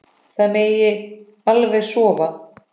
Það megi alveg sofa.